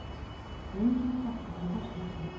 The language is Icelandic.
Engin kreppa í fjarskiptum